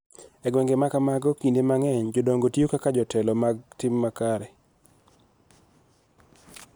E gwenge ma kamago, kinde mang�eny jodongo tiyo kaka jotelo mag tim makare,